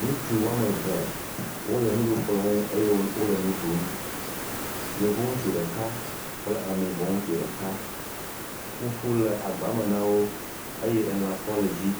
Ŋutsu wo ame eve wole nuɖukplɔ̃ ŋu eye wole nu ɖum. Yevu ŋutsu ɖeka kple ameyibɔ ŋutsu ɖeka. Fufu le agba me na wo eye elã kɔ le edzi.